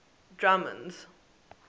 drummond's